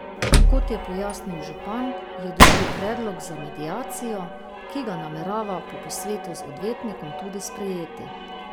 Kot je pojasnil župan, je dobil predlog za mediacijo, ki ga namerava po posvetu z odvetnikom tudi sprejeti.